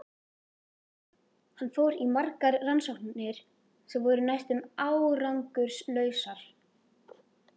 Hann fór í margar rannsóknir sem voru næstum árangurslausar.